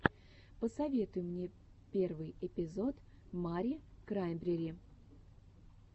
посоветуй мне первый эпизод мари краймбрери